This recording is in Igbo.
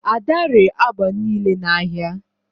ada ree agba niile n'ahịa